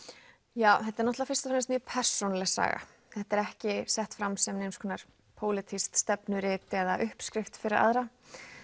já þetta er náttúrulega fyrst og fremst mjög persónuleg saga þetta er ekki sett fram sem neins konar pólitískt stefnurit eða uppskrift fyrir aðra